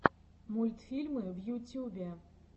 мультфильмы в ютюбе